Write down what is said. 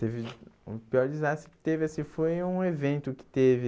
Teve o pior desastre que teve, assim foi um evento que teve...